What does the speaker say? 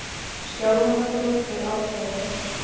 Skjálfandafljót við Aldeyjarfoss.